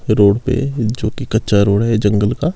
Road पे जो की कच्चा रोड है जंगल का।